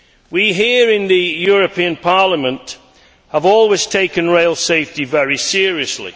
We here in the European Parliament have always taken rail safety very seriously.